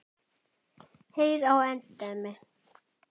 Heyr á endemi.